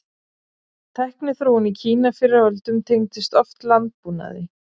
Tækniþróun í Kína fyrr á öldum tengdist oft landbúnaði.